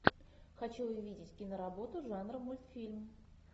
хочу увидеть киноработу жанра мультфильм